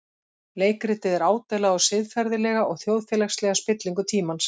Leikritið er ádeila á siðferðilega og þjóðfélagslega spillingu tímans.